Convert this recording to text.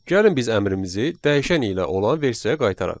Gəlin biz əmrimizi dəyişən ilə olan versiyaya qaytaraq.